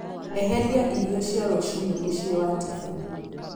eheria irio cia rũcinĩ mũciĩ wa tiffany